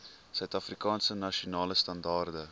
suidafrikaanse nasionale standaarde